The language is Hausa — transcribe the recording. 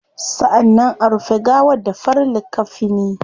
Sannan a rufe gawar da farin likkafini